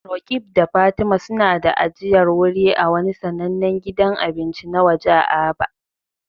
Roqeeb da Fatima suna da ajiyar wuri a wani sanannen gidan abinci na waje a Aba.